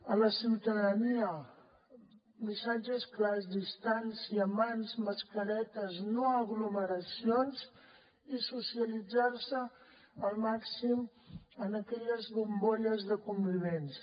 a la ciutadania missatges clars distància mans mascaretes no aglomeracions i socialitzar se al màxim en aquelles bombolles de convivents